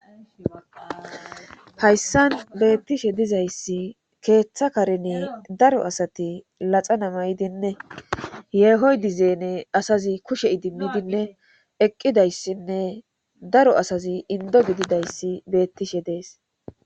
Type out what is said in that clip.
Hayssan beettishe dizayssi keeththa karini daro asati laxa namaydine yeehoy dizeene asazi kushe idimmidinne eqqidayssinne daro asazi indo gididayssi beettishe dees.